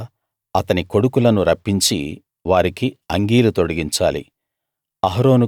తరువాత అతని కొడుకులను రప్పించి వారికి అంగీలు తొడిగించాలి